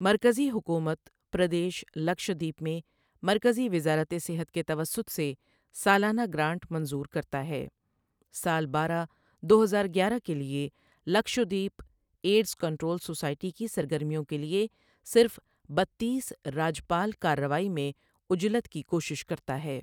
مرکزی حکومت پردیش لکشادیپ میں مرکزی وزارت صحت کے توسط سے سالانہ گرانٹ منظور کرتا ہے سال بارہ دو ہزار گیارہ کے لیے لکشدویپ ایڈز کنٹرول سوسائٹی کی سرگرمیوں کے لیے صرف بتیس راجپال کارروائی میں عجلت کی کوشش کرتا ہے ۔